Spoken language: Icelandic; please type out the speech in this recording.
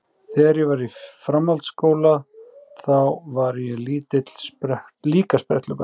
Þegar ég var í framhaldsskóla þá var ég líka spretthlaupari.